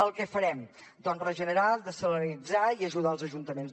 el que farem doncs regenerar dessalinitzar i ajudar els ajuntaments